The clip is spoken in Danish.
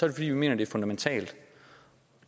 det fordi vi mener det er fundamentalt